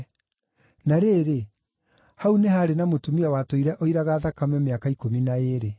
Na rĩrĩ, hau nĩ haarĩ na mũtumia watũire oiraga thakame mĩaka ikũmi na ĩĩrĩ.